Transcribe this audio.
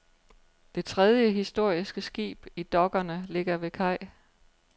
Det tredje historiske skib i dokkerne ligger ved kaj.